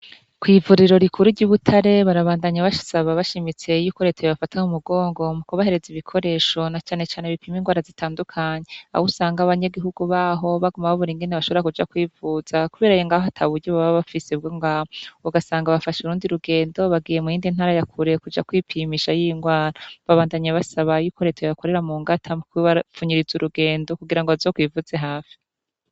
Kwivuriro rikuru ryibutare barabandanya basaba bashimitse yuko reta yobafata kumugongo mukubahereza ibikoresho na cane cane pima inrwara zitandukanye aho usanga abanyagihugu baho baguma babura ingene bashobora kuja kwivuza kubera ngaha ataburyo baba bafise bwongaho ugasanga bafashe urundi rugendo bagiye muyindi ntara ya kure bagiye kuja kwipimisha inrwara babandanya basaba reta ko yobakorera mungata mukubapfunyiriza urugendo kugirango bazokwivuze hafi